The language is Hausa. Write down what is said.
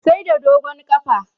Sai da dogon ƙafa